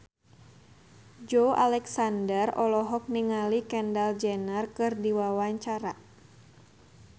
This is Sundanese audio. Joey Alexander olohok ningali Kendall Jenner keur diwawancara